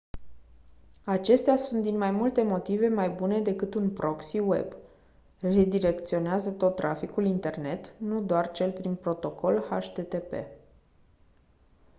acestea sunt din mai multe motive mai bune decât un proxy web redirecționează tot traficul internet nu doar cel prin protocol http